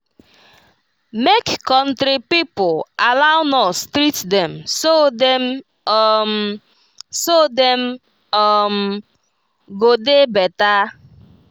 make country pipo allow nurse treat dem so dem um so dem um go dey better